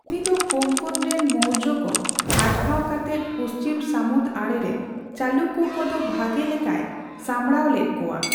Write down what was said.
ᱩᱱᱤ ᱫᱚ ᱠᱳᱝᱠᱚᱱ ᱨᱮᱱ ᱢᱳᱨᱡᱚ ᱠᱚ ᱟᱴᱠᱟᱣ ᱠᱟᱛᱮᱫ ᱯᱩᱪᱷᱤᱢ ᱥᱟᱹᱢᱩᱫ ᱟᱹᱲᱮ ᱨᱮ ᱪᱟᱞᱩᱠᱠᱚ ᱠᱚᱫᱚ ᱵᱷᱟᱜᱮ ᱞᱮᱠᱟᱭ ᱥᱟᱸᱵᱽᱲᱟᱣ ᱞᱮᱫ ᱠᱚᱣᱟ ᱾